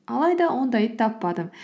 алайда ондайды таппадым